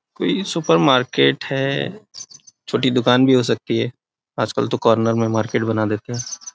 कोई supermarket है छोटी दुकान भी हो सकती है आज कल तो कार्नर में मार्केट बना देते है।